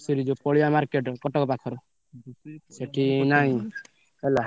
ସେଠି ଯଉ ପଡ଼ିଆ market କଟକ ପାଖର, ସେଠି ନାଇଁ ହେଲା।